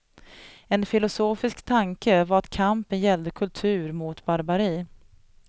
En filosofisk tanke var att kampen gällde kultur mot barbari.